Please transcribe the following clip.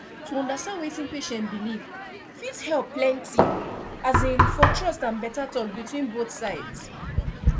to understand wetin patient believe fit help plenty um for trust and better talk between both sides